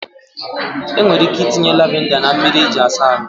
Enwere ike itinye lavinda na mmiri eji asa ahụ.